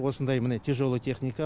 осындай міне тяжелая техника